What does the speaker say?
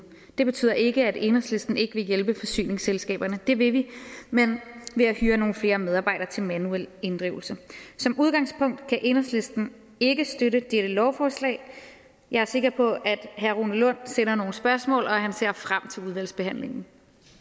det betyder ikke at enhedslisten ikke vil hjælpe forsyningsselskaberne det vil vi men ved at hyre nogle flere medarbejdere til manuel inddrivelse som udgangspunkt kan enhedslisten ikke støtte dette lovforslag jeg er sikker på at herre rune lund sender nogle spørgsmål og at han ser frem til udvalgsbehandlingen